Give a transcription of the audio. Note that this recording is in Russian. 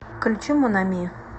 включи мон ами